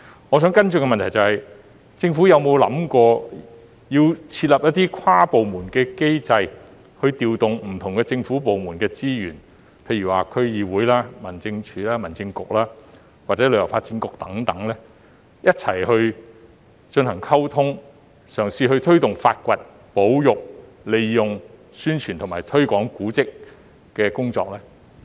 我想提出的補充質詢是，政府有否考慮制訂一個跨部門的機制，以調動不同政府部門的資源，例如區議會、民政事務總署、民政事務局或旅發局等，以便一起進行溝通和推動古蹟的發掘、保育、宣傳和推廣工作呢？